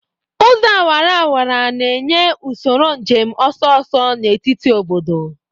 Ụzọ awara awara na-enye usoro njem ọsọ ọsọ n'etiti obodo.